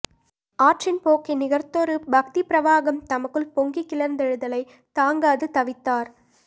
ஆற்றின் போக்கை நிகர்த்ததொரு பக்திப் பிரவாகம் தமக்குள் பொங்கிக் கிளர்ந்தெழுதலை தாங்காது தவித்தார்